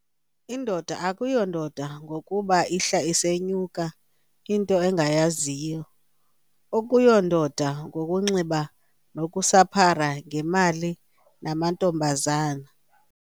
Indoda akuyondoda ngokuba ihla isenyuka into engayaziyo, akuyondoda ngokunxila nokusaphara ngemali namantombazana.